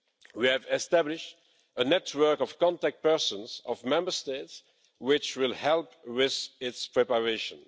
We have established a network of contact persons of Member States which will help with its preparation.